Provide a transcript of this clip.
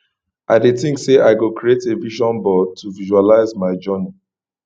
i dey think say i go create a vision board to visualize my journey